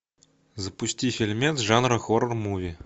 запусти фильмец жанра хоррор муви